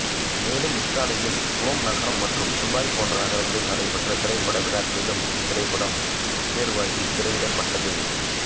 மேலும் இத்தாலியின் ரோம் நகரம் மற்றும் துபாய் போன்ற நகரங்களில் நடைபெற்ற திரைப்பட விழாக்களிலும் இத்திரைப்படம் தேர்வாகித் திரையிடப்பட்டது